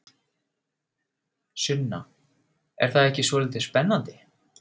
Sunna: Er það ekki svolítið spennandi?